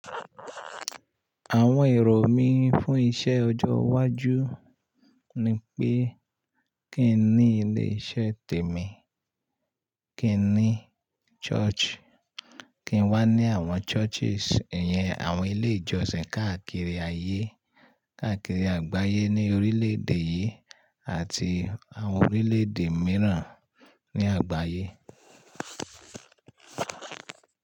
Àwọn èrò mí fún iṣẹ́ ọjọ́ iwájú ni pé kí n ní ilé iṣẹ́ tèmi, kí n ní church, kí n wà ní àwọn churches, ìyẹn àwọn ilé ìjọsìn káàkiri ayé, káàkiri àgbáyé ní orílẹ̀ èdè yìí àti àwọn orílẹ̀ èdè mìíràn ní àgbáyé.